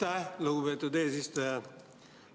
Aitäh, lugupeetud eesistuja!